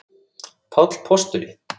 Páll postuli?